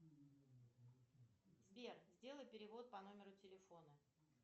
сбер сделай перевод по номеру телефона